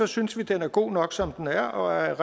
synes vi den er god nok som den er og er